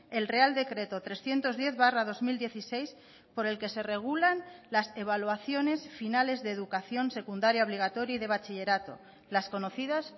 el real decreto trescientos diez barra dos mil dieciséis por el que se regulan las evaluaciones finales de educación secundaria obligatoria y de bachillerato las conocidas